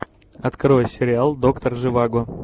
открой сериал доктор живаго